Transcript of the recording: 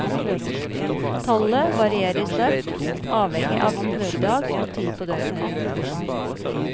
Tallet varierer sterkt, avhengig av ukedag og tid på døgnet.